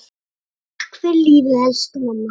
Takk fyrir lífið, elsku mamma.